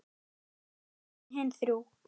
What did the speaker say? Ekki frekar en hin þrjú.